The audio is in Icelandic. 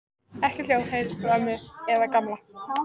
Ekkert hljóð heyrðist frá ömmu eða Gamla.